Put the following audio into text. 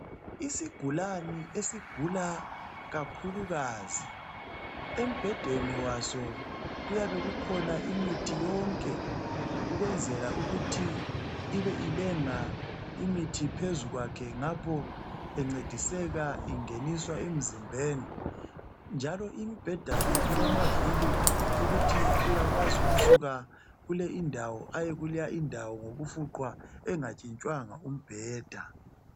Isigulane esigula kakhulukazi emibhedeni waso kuyabekhukhona imithi yonke ukwenzela ukuthi ibe ilenga imithi phezu kwakhe ngapho encediseka ingeniswa emzimbeni njalo imbheda le ilavili ukuthi uyakwazi ukusuka kuleyi indawo aye kuleya indawo ngokufuqwa engatshitshwanga umbheda.